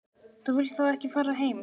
Þú vilt þá ekki fara heim?